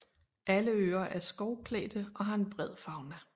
Alle øer er skovklædte og har en bred fauna